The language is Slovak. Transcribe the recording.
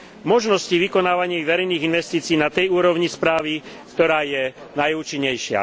možnosti vykonávaní verejných investícií na tej úrovni správy, ktorá je najúčinnejšia.